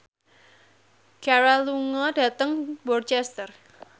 Ciara lunga dhateng Worcester